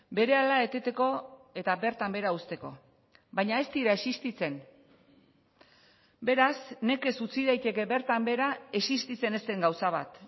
berehala eteteko eta bertan behera uzteko baina ez dira existitzen beraz nekez utzi daiteke bertan behera existitzen ez den gauza bat